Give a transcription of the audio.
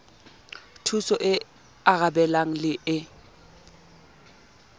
thusong e arabelang le e